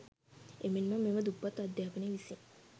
එමෙන්ම මෙම දුප්පත් අධ්‍යාපනය විසින්